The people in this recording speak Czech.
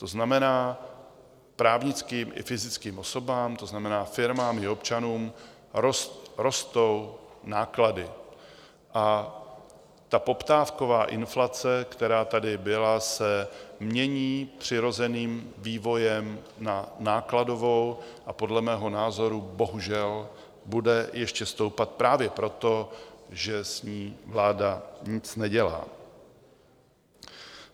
To znamená, právnickým i fyzickým osobám, to znamená, firmám i občanům, rostou náklady a poptávková inflace, která tady byla, se mění přirozeným vývojem na nákladovou a podle mého názoru bohužel bude ještě stoupat právě proto, že s ní vláda nic nedělá.